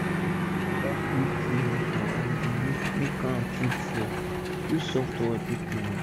if u dey use wata take clean okro and e dey make make am too draw use soft towel take clean am